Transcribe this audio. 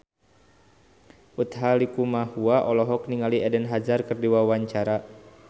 Utha Likumahua olohok ningali Eden Hazard keur diwawancara